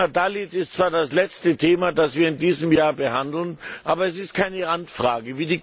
Das Thema Dalits ist zwar das letzte Thema, das wir in diesem Jahr behandeln, aber es ist keine Randfrage.